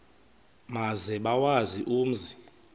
maze bawazi umzi